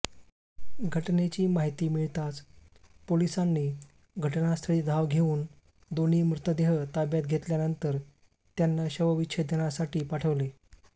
घटनेची माहिती मिळताच पोलिसांनी घटनास्थळी धाव घेऊन दोन्ही मृतदेह ताब्यात घेतल्यानंतर त्यांना शवविच्छेदनासाठी पाठवले